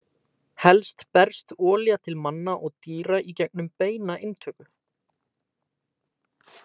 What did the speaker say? Helst berst olía til manna og dýra í gegnum beina inntöku.